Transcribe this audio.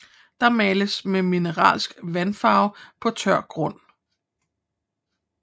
Der males med mineralske vandfarver på tør grund